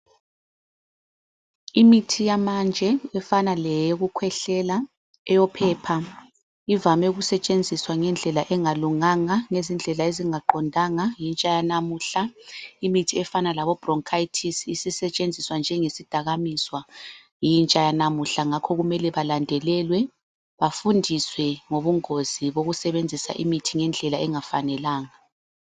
Imithi yamanje efana leyoku khwehlela eyo phepha ivame ukusetshenziswa ngendlela engalunganga ngezindlela ezinga qondanga yintsha yalamuhla, imithi efana labo bronkayithisi isisetshenziswa njengesidakamiswa yintsha yalamuhla, ngakho kumele balendelelwe bafundiswe ngobungozi bokusebenzisa imithi ngendlela engafanelanga.